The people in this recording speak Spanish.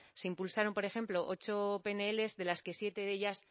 se impulsaron por ejemplo ocho pnl de las que en siete de ellas